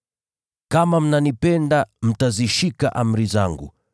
“Kama mnanipenda, mtazishika amri zangu.